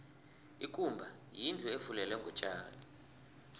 ikumba yindlu efulelwe ngotjani